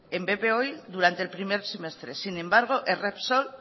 en bp oil durante el primer semestre sin embargo es repsol